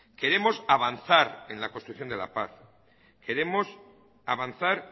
queremos avanzar en la construcción de la paz queremos avanzar